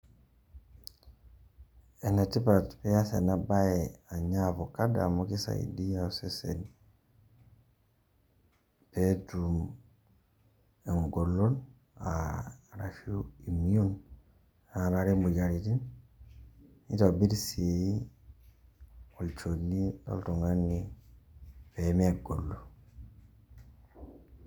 Enetipat pee iaas ena baye anya avocado amu kisaidia osesen pee etum engolon arashu immune naarare imoyiaritin nitobirr sii olchoni loltung'ani pee megolu.